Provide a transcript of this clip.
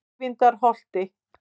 Eyvindarholti